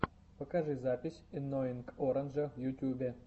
покажи запись энноинг оранджа в ютюбе